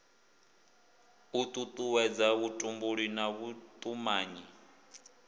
u tutuwedza vhutumbuli na vhutumanyi